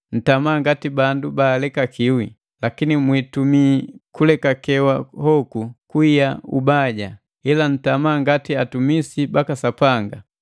Ntama ngati bandu baalekakiwi; lakini mwiitumii kulekakewa hoku kuiya ubaja, ila ntama ngati atumisi baka Sapanga.